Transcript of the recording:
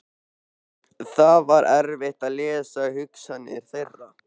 Það var erfitt að lesa hugsanir þeirra.